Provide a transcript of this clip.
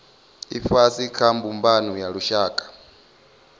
ifhasi kha mbumbano ya lushaka